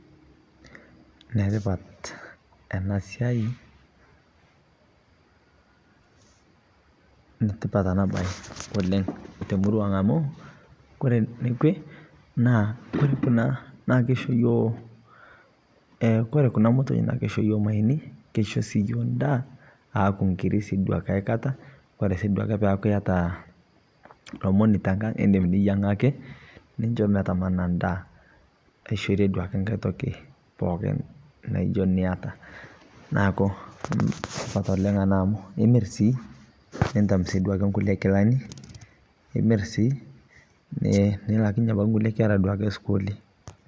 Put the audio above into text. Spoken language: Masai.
Netipaat ena siai, netipaat ena bayi oleng te murua ang amu kore neikwe naa kore kuna naa keishoo yoo. Eeh kore kuna mootoi naa keishoo yoo mayeeni. Keishoo sii yoo ndaa aaku ng'irii sii duake aikataa. Kore sii duake paa eyataa lomoni te ng'ang idiim niyang'aki nishoo meetama ena endaa. Aishoree duake nkaai tooki pooki naijoo nietaa. Naaku kesupaat oleng ana amu imiir sii neitam sii duake nkulee nkilaani. Imiir sii nilaakinye nkulee nkeera duake sukulii.